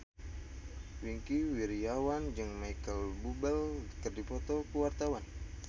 Wingky Wiryawan jeung Micheal Bubble keur dipoto ku wartawan